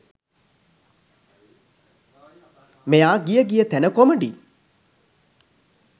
මෙයා ගිය ගිය තැන කොමඩි